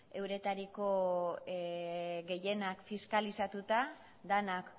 euretariko gehienak fiskalizatuta denak